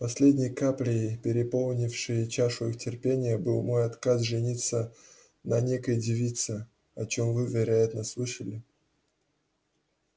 последней каплей переполнившей чашу их терпения был мой отказ жениться на некоей девице о чем вы вероятно слышали